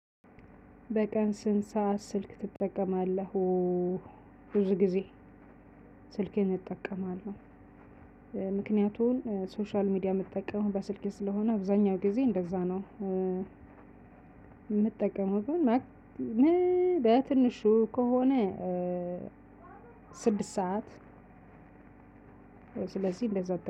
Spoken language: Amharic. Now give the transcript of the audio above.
በቀን ስንት ሰዓት ስልክ ትጠቀማለህ? ብዙ ጊዜ ስልኬን እጠቀማለሁ። ምክንያቱን ሶሻል ሚዲያ ምትጠቀመው በስልኬ ስለሆነ አብዛኛው ጊዜ እንደዛ ነው የምጠቀመው። በትንሹ ከሆነ ስድስት ሰዓት ስለዚህ እንደዛ